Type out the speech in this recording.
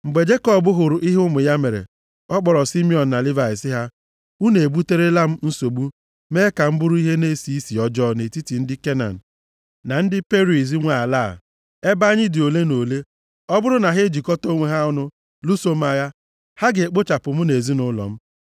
Mgbe Jekọb hụrụ ihe ụmụ ya mere, ọ kpọrọ Simiọn na Livayị sị ha, “Unu ebuterela m nsogbu mee ka m bụrụ ihe na-esi isi ọjọọ nʼetiti ndị Kenan na ndị Periz nwe ala a. Ebe anyị dị ole na ole, ọ bụrụ na ha ejikọta onwe ha ọnụ lụso m agha, ha ga-ekpochapụ mụ na ezinaụlọ m.”